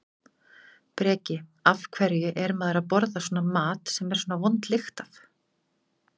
Breki: Af hverju er maður að borða svona mat sem er svona vond lykt af?